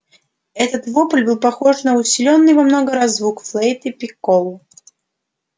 этот вопль был похож на усилённый во много раз звук флейты-пикколо